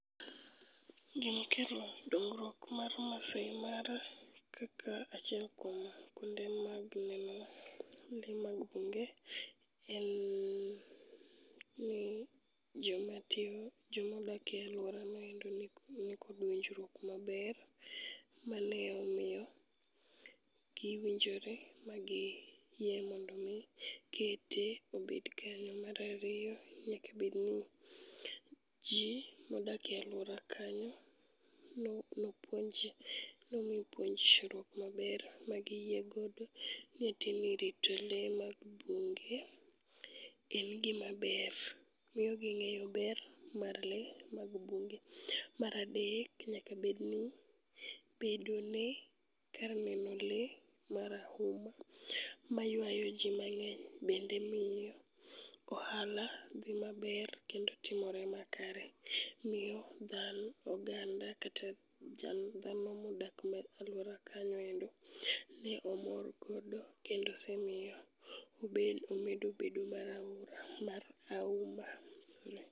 Gimokelo dongruok mar Maasai Mara kaka achiel kuom kuonde mag neno le mag bunge en ni jomatiyo, jomodakie alworanoendo nikod winjo maber, mane omiyo giwinjore magiyie mondo mi kete obed kanyo. Marariyo, nyaka bedni ji modak e alwora kanyo nomi puonjruok maber magiyie godo nitemie rito le mag bunge en gima ber, miyo ging'eyo ber mar le mag bunge. Maradek, nyakabedni bedone kar neno le marahuma maywayo ji mang'eny bende miyo ohala dhimaber kendo timore makare. Miyo oganda kata dhano modak alwora kanyoendo ne omorgodo kendo osemiyo omedo bedo marahuma. Sorry.